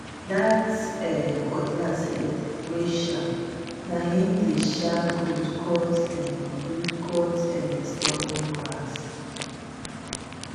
that um cutlass head wey sharp na him dey um good cut um good cut um stubborn grass